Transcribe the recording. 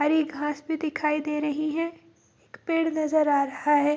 हरी घास भी दिखाई दे रही है एक पेड़ नजर आ रहा है।